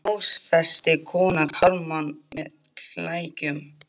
Hvernig klófestir kona karlmann með klækjum?